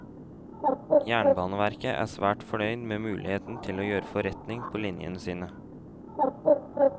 Jernbaneverket er svært fornøyd med muligheten til å gjøre forretning på linjene sine.